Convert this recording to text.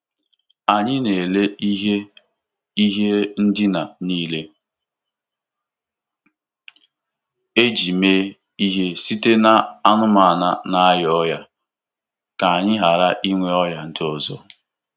Anyị na-ere ihe ihe ndina niile e ji mee ihe site n'anụmanụ na-arịa ọrịa ka anyị ghara inwe ọrịa ndị ọzọ.